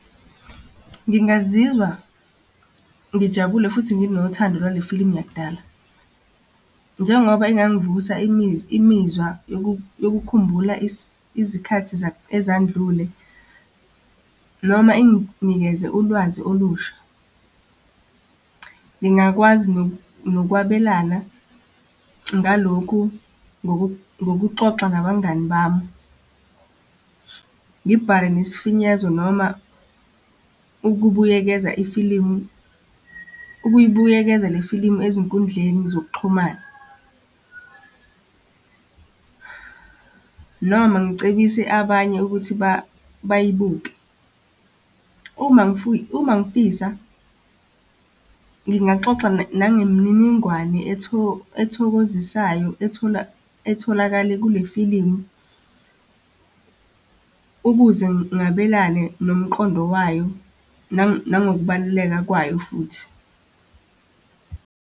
Ngingazizwa ngijabule futhi nginothando lwale filimu yakudala. Njengoba ingangivusa imizwa yokukhumbula izikhathi ezandlule noma enginikeze ulwazi olusha. Ngingakwazi nokwabelana ngalokhu ngokuxoxa nabangani bami, ngibhale nesifinyezo noma ukubuyekeza ifilimu, ukuyibuyekeza le filimu ezinkundleni zokuxhumana. Noma ngikucebise abanye ukuthi bayibuke. Uma, uma ngifisa, ngingaxoxa nangemininingwane ethokozisayo etholakale kule filimu ukuze ngabelane nomqondo wayo nangokubaluleka kwayo futhi.